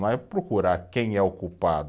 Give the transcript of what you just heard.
Não é procurar quem é o culpado.